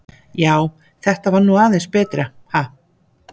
Já, þetta var nú aðeins betra, ha!